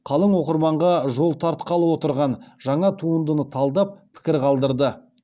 қалың оқырманға жол тартқалы отырған жаңа туындыны талдап пікір қалдырды